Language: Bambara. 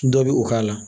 Dɔ bɛ o k'a la